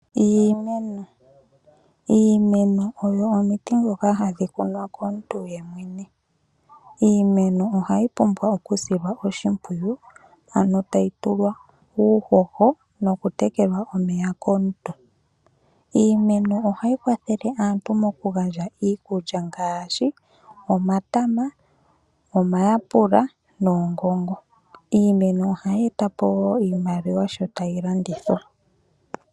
Iimeno, iimeno oyo omiti dhoka hadhi kunwa komuntu ye mwene. Iimeno ohayi pumbwa oku silwa oshimpwiyu, ano tayi tulwa uuhoho noku tekelwa omeya komuntu. Iimeno ohayi kwathele aantu moku gandja iikulya ngashi, omatama, omayapula noongongo. Iimeno ohayi etapo wo iimaliwa sho tayi landithwa.